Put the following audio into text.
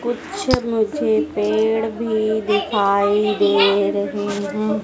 कुछ मुझे पेड़ भी दिखाई दे रहे हैं।